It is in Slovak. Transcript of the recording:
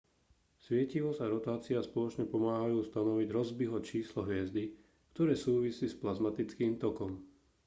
svietivosť a rotácia spoločne pomáhajú stanoviť rossbyho číslo hviezdy ktoré súvisí s plazmatickým tokom